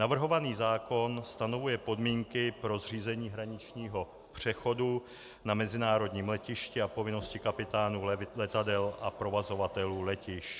Navrhovaný zákon stanovuje podmínky pro zřízení hraničního přechodu na mezinárodním letišti a povinnosti kapitánů letadel a provozovatelů letišť.